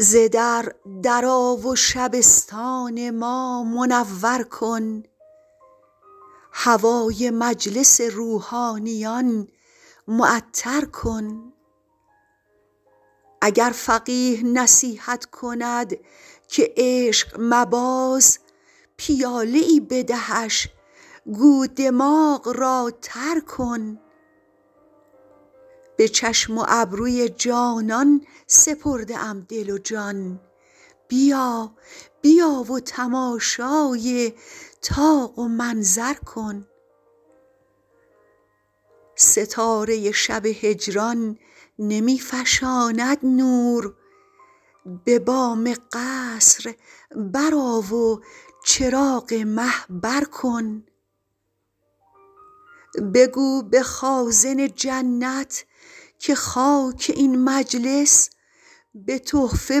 ز در در آ و شبستان ما منور کن هوای مجلس روحانیان معطر کن اگر فقیه نصیحت کند که عشق مباز پیاله ای بدهش گو دماغ را تر کن به چشم و ابروی جانان سپرده ام دل و جان بیا بیا و تماشای طاق و منظر کن ستاره شب هجران نمی فشاند نور به بام قصر برآ و چراغ مه بر کن بگو به خازن جنت که خاک این مجلس به تحفه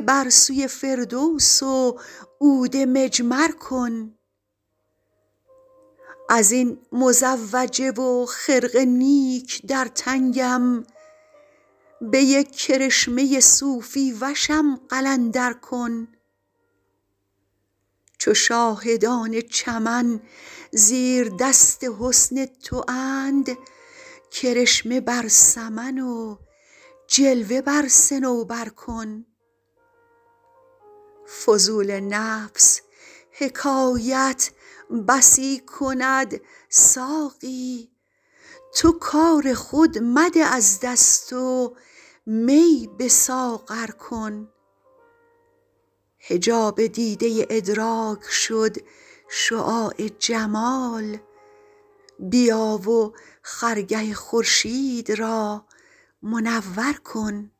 بر سوی فردوس و عود مجمر کن از این مزوجه و خرقه نیک در تنگم به یک کرشمه صوفی وشم قلندر کن چو شاهدان چمن زیردست حسن تواند کرشمه بر سمن و جلوه بر صنوبر کن فضول نفس حکایت بسی کند ساقی تو کار خود مده از دست و می به ساغر کن حجاب دیده ادراک شد شعاع جمال بیا و خرگه خورشید را منور کن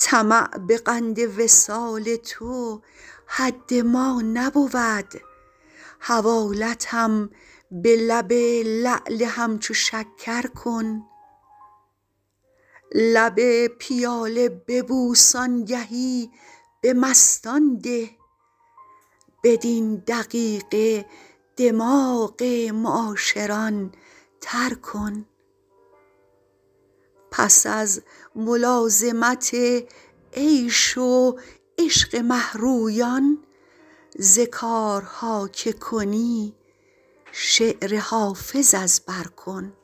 طمع به قند وصال تو حد ما نبود حوالتم به لب لعل همچو شکر کن لب پیاله ببوس آنگهی به مستان ده بدین دقیقه دماغ معاشران تر کن پس از ملازمت عیش و عشق مه رویان ز کارها که کنی شعر حافظ از بر کن